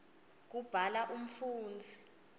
kubhala umfundzi